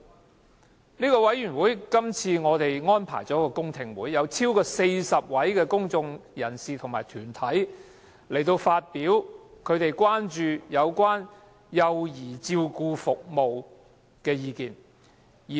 我們的小組委員會這次安排了公聽會，邀得逾40位公眾人士和團體參加，就他們關注的幼兒照顧服務相關事宜表達意見。